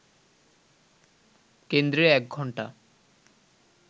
কেন্দ্রে এক ঘণ্টা